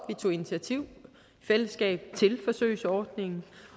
vi tog initiativ i fællesskab til forsøgsordningen